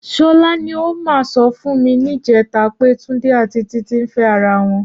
Ṣọlá ni ó mà sọ fún mi níjẹ̀ta pé Túndé àti Títí ń fẹ́ ara wọn